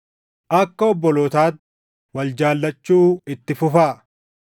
Akka obbolootaatti wal jaallachuu itti fufaa.